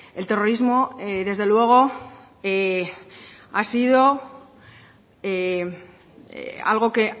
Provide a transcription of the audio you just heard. el terrorismo desde luego ha sido algo que